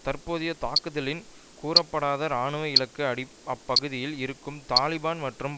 தற்போதைய தாக்குதலின் கூறப்படாத இராணுவ இலக்கு அப்பகுதியில் இருக்கும் தலிபான் மற்றும்